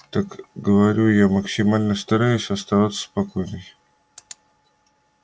так говорю я максимально стараясь оставаться спокойной